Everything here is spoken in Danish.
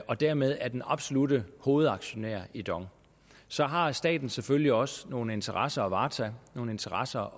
og dermed er den absolutte hovedaktionær i dong så har staten selvfølgelig også nogle interesser at varetage nogle interesser